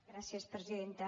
gràcies presidenta